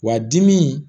Wa dimi